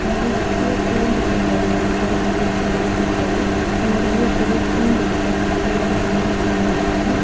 கம்பி வச்சு கூண்டு செய்றது அது மாதிரி கம்பி வச்சு ஏதாச்சும் செய்றது முன்னாடி வந்து ஒரு பெரிய கூண்டு இருக்கு கம்பியால பெரிய கூண்டா இருக்குது.